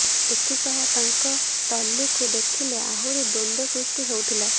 ଏଥିସହ ତାଙ୍କ ଟ୍ରଲିକୁ ଦେଖିଲେ ଆହୁରି ଦ୍ୱନ୍ଦ୍ୱ ସୃଷ୍ଟି ହେଉଥିଲା